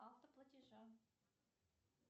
автоплатежа